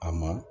A ma